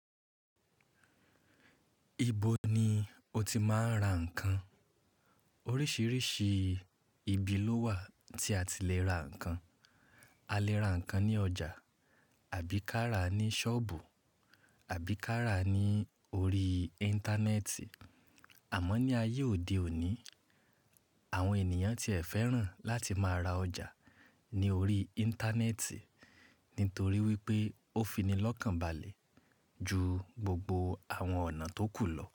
Ibo ni o ti máa ń ra nǹkan? Oríṣiríṣi ibi ló wà tí a ti lè ra nǹkan. A lè ra nǹkan ní ọjà àbí kárà ní ṣọ́ọ̀bù àbí kárà ní orí Íńtánẹ́ẹ̀tì. Àmọ́ ní ayé òde òní, àwọn ènìyàn ti ẹ̀ fẹ́ràn láti máa ra ọjà ní orí Íńtánẹ́ẹ̀tì nítorí wípé ó fi ní lọ́kànbalẹ̀ ju gbogbo àwọn ọ̀nà tó kù lọ.